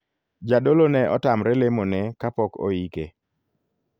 Jadolo ne otamre lemo ne kapok oike.